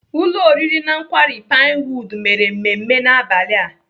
Ụlọ oriri na nkwari Pinewood mere mmemme n'abalị a.